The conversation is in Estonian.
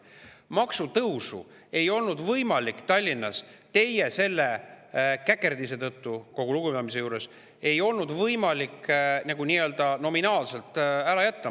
Maksutõusu ei olnud võimalik Tallinnas teie käkerdise tõttu, kogu lugupidamise juures, nii-öelda nominaalselt ära jätta.